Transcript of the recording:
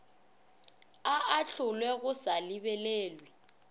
a ahlolwe go sa lebelelwe